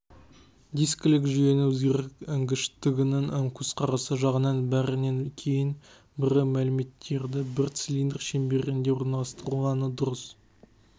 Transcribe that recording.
дискілік жүйенің өндіргіштігінің көзқарасы жағынан бірінен кейін бірі мәліметтерді бір цилиндр щеңберінде орналастырылғаны дұрыс